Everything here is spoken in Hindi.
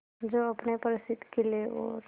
जो अपने प्रसिद्ध किले और